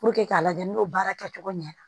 k'a lajɛ n'o baara kɛ cogo ɲɛ na